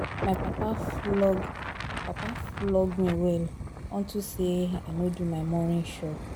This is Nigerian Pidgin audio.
My papa flog me well unto say I no do my morning chore